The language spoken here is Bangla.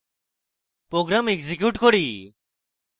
program execute করি